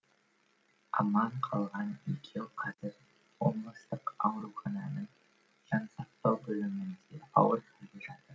аман қалған екеуі қазір облыстық аурухананың жансақтау бөлімінде ауыр халде жатыр